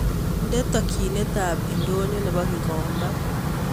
Nde takienet ab ndonyo nebo gikomba